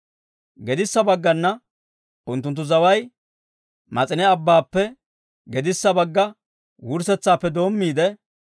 Gedissa baggana unttunttu zaway Mas'ine Abbaappe gedissa bagga wurssetsaappe doommiide,